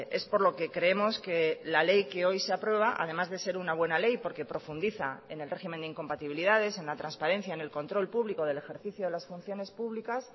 es por lo que creemos que la ley que hoy se aprueba además de ser una buena ley porque profundiza en el régimen de incompatibilidades en la transparencia en el control público del ejercicio de las funciones públicas